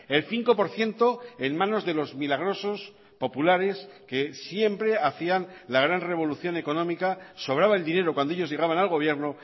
el cinco por ciento en manos de los milagrosos populares que siempre hacían la gran revolución económica sobraba el dinero cuando ellos llegaban al gobierno